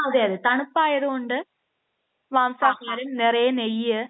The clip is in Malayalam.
തണുപ്പായത് കൊണ്ട് മാംസാഹാരം നിറയെ നെയ്യ്